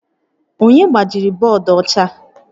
Onye gbajiri bọọdụ ọcha?